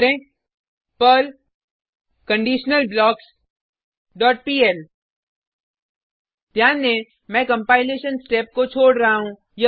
type करें Perl conditional blocks dot PL ध्यान दें मैं कंपाइलेशन स्टेप को छोड रहा हूँ